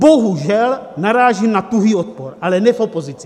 Bohužel narážím na tuhý odpor, ale ne v opozici!